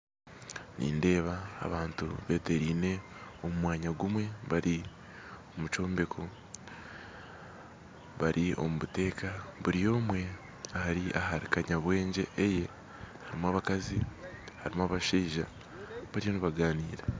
Nindeeba abantu beteraine omu mwanya gumwe bari mu kyombeko bari omu buteka buri omwe ari hari kanyabwengye eye harimu abakazi harimu abashaija bariyo nibagaanira